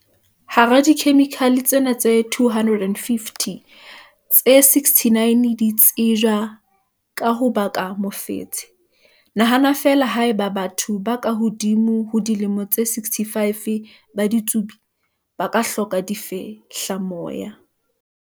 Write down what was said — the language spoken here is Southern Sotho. Hara dikhemikhale tsena tse 250, tse 69 di tsejwa ka ho baka mofetshe. Nahana feela haeba batho ba ka hodimo ho dilemo tse 65 ba ditsubi, ba ka hloka difehlamoya.